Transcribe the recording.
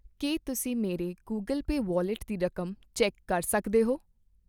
ਕੀ ਤੁਸੀਂਂ ਮੇਰੇ Google pay wallet ਦੀ ਰਕਮ ਚੈੱਕ ਕਰ ਸਕਦੇ ਹੋ ?